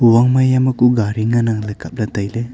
ong maiya ma ku gari ngana ley kap ley taile.